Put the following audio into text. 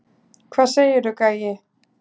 Hvað segirðu, gæi?